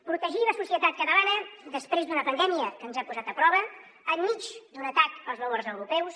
protegir la societat catalana després d’una pandèmia que ens ha posat a prova enmig d’un atac als valors europeus